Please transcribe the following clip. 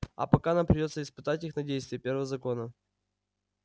а пока нам придётся испытывать их на действие первого закона